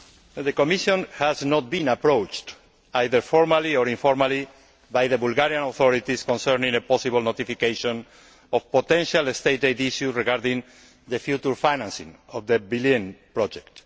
The Commission has not been approached either formally or informally by the Bulgarian authorities concerning possible notification of a potential state aid issue regarding the future financing of the Belene project.